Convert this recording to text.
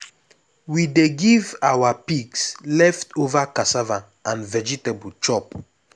we dey give our pigs leftover cassava and vegetable chop.